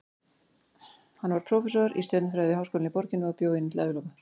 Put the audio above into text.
Hann varð prófessor í stjörnufræði við háskólann í borginni og bjó í henni til æviloka.